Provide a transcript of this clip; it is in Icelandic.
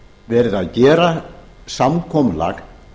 verið að gera samkomulag